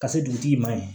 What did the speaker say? Ka se dugutigi ma yen